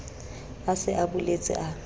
a se a boletse a